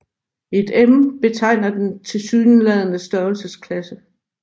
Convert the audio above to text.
Et m betegner den tilsyneladende størrelsesklasse